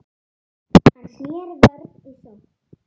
Hann sneri vörn í sókn.